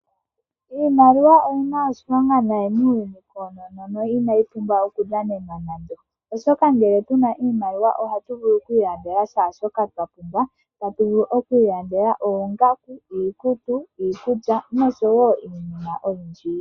Iimaliwa oyi na oshilonga nayi muuyuni koonono, no ina yi pumbwa okudhanenalwa nando. Oshoka ngele puna oshimaliwa ohatu vulu okwiilandela kehe shoka twa pumbwa. Ota tu vulu okwiilandela oongaku, iikutu, iikulya noshowo iinima oyindji.